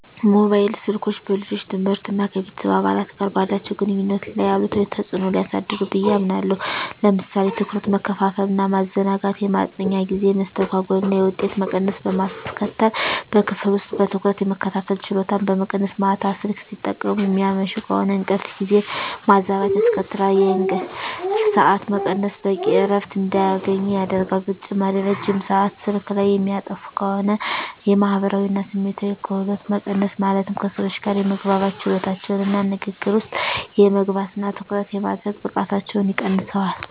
ሞባይል ስልኮች በልጆች ትምህርት እና ከቤተሰብ አባላት ጋር ባላቸው ግንኙነት ላይ አሉታዊ ተጽዕኖ ሊያሳድሩ ብየ አምናለሁ። ለምሳሌ ትኩረት መከፋፈል እና ማዘናጋት፣ የማጥኛ ጊዜ መስተጓጎል እና የውጤት መቀነስ በማስከትል፣ በክፍል ውስጥ በትኩረት የመከታተል ችሎታን በመቀነስ፣ ማታ ስልክ ሲጠቀሙ የሚያመሹ ከሆነ እንቅልፍ ጊዜን ማዛባት ያስከትላል፣ የእንቅልፍ ሰዓት መቀነስ በቂ እረፍት እንዳያገኙ ያደርጋል። በተጨማሪም ረጅም ሰአት ስልክ ላይ የሚያጠፉ ከሆነ የማህበራዊ እና ስሜታዊ ክህሎቶች መቀነስ ማለትም ከሰዎች ጋር የመግባባት ችሎታቸውን እና ንግግር ውስጥ የመግባት እና ትኩረት የማድረግ ብቃታቸውን ይቀንሰዋል።